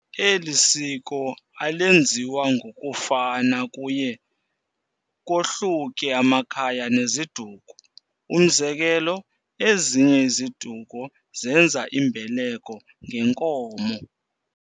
Elisiko alenziwa ngokufana kuye kohluke amakhaya neziduko, umzekelo ezinye iziduko zenza imbeleko nge nkomo.